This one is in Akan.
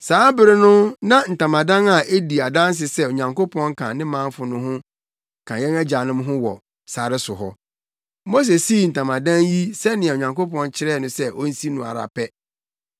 “Saa bere no na ntamadan a edi adanse sɛ Onyankopɔn ka ne manfo ho no ka yɛn agyanom ho wɔ sare so hɔ. Mose sii ntamadan yi sɛnea Onyankopɔn kyerɛɛ no sɛ onsi no no ara pɛ.